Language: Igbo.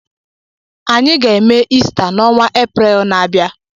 Anyị ga-eme Ista n'onwa Eprel na-abịa.